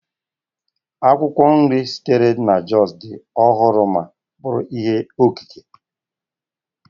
Akwụkwọ nri sitere na Jos dị ọhụrụ ma bụrụ ihe okike